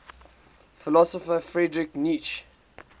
philosopher friedrich nietzsche